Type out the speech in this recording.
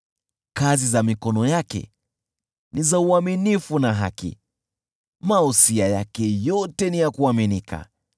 Kazi za mikono yake ni za uaminifu na haki, mausia yake yote ni ya kuaminika.